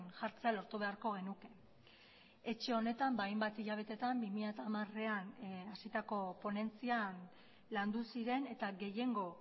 jartzea lortu beharko genuke etxe honetan hainbat hilabetetan bi mila hamarean hasitako ponentzian landu ziren eta gehiengo